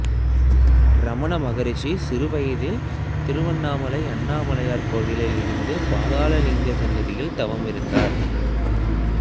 ரமண மகரிசி சிறுவயதில் திருவண்ணாமலையில் அண்ணாமலையார் கோயிலில் இருந்த பாதாள லிங்க சன்னதியில் தவமிருந்தார்